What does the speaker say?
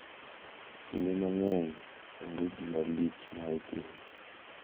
Kinde mang`eny onge gima lich ma itimo.